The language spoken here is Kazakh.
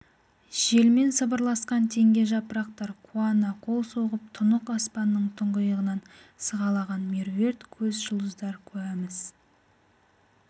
желмен сыбырласқан теңге жапырақтар қуана қол соғып тұнық аспанның тұңғиығынан сығалаған меруерт көз жұлдыздар куәміз